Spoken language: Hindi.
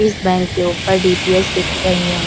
इस बैंक के ऊपर डी.टी.एस दिख रही हैं।